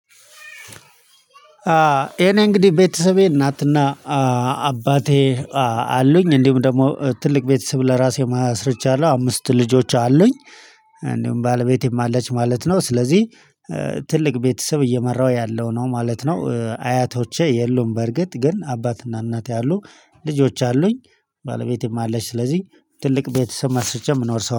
የኔ እንግዲህ ቤተሰቤ እናትና አባቴ አሉኝ እንዲሁም ደግሞ ትልቅ ቤተሰብ ለራሴ ማስረጃ አለው አምስት ልጆች አሉኝ። እንዲሁም ባለቤቴም አለች ማለት ነው ስለዚህ ትልቅ ቤተሰብ እየመራሁ ያለው ነው ማለት ነው። አያቶቼ የሉም። በርግጥ ግን አባትና እናቴ አሉ። ልጆች አሉኝ። ባለቤቴም አለች ስለዚህ ትልቅ ቤተሰብ መስርቼ ምኖር ሰው